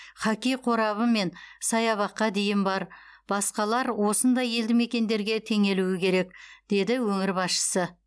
хоккей қорабы мен саябаққа дейін бар басқалар осындай елді мекендерге теңелуі керек деді өңір басшысы